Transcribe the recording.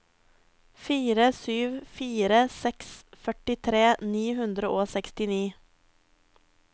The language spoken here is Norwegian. fire sju fire seks førtitre ni hundre og sekstini